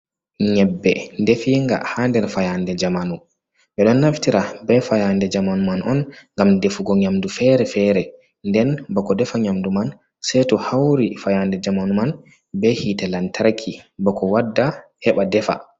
Nyebbe definga ha nder fayande jamanu, ɓeďo naftira be fayande jamanu man on ngam defugo nyamdu fere-fere nden bako defa nyamdu man sei to hauri fayande jamanu man be hite lantar bako wadda heɓa defa.